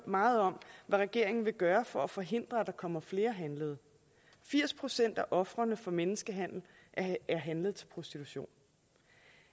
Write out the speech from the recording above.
meget om hvad regeringen vil gøre for at forhindre at der kommer flere handlede firs procent af ofrene for menneskehandel er handlet til prostitution